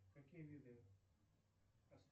какие виды